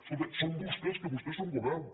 escolti són vostès que vostès són govern